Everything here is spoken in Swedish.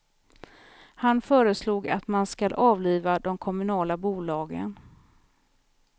Han föreslog att man skall avliva de kommunala bolagen.